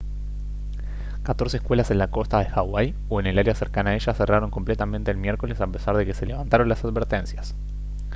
catorce escuelas en la costa de hawái o en el área cercana a ella cerraron completamente el miércoles a pesar de que se levantaron las advertencias